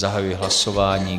Zahajuji hlasování.